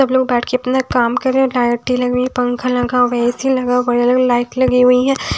सब लोग बांट के अपना काम कर रहे हैं लाइटें लगी पंखा लगा हुआ है ऐ_सी लगा हुआ है अलग अलग लाइट लगी हुई हैं।